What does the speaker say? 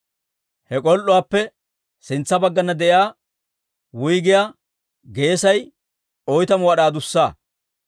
He k'ol"uwaappe sintsa baggana de'iyaa wuyggiyaa geesay oytamu wad'aa adussa.